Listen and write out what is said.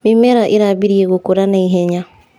Mĩmera ĩrambirie gũkũra na ihenya.